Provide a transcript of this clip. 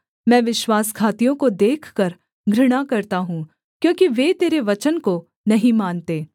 मैं विश्वासघातियों को देखकर घृणा करता हूँ क्योंकि वे तेरे वचन को नहीं मानते